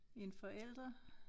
En forælder